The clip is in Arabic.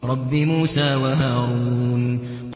رَبِّ مُوسَىٰ وَهَارُونَ